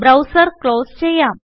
browser close ചെയ്യാം